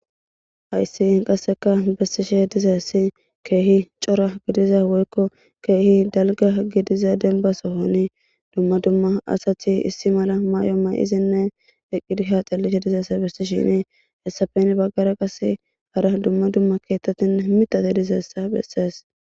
ayssi qasseka bessishe dizeessi keehi cora gidiza woykko keehi dalga gidiza denbasohoni dumma dumma asati issi mala maay7o may7izinne eqqidi haaxellite dizeesa besti shini hessafen baggara qase hara dumma dumma keettatin mitate dizeessa bessees